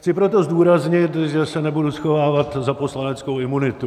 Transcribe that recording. Chci proto zdůraznit, že se nebudu schovávat za poslaneckou imunitu.